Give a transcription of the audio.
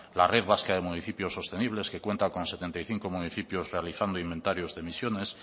la red vasca de municipios sostenibles que cuenta con setenta y cinco municipios realizando inventarios de emisiones